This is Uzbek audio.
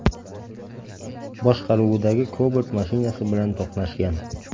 boshqaruvidagi Cobalt mashinasi bilan to‘qnashgan.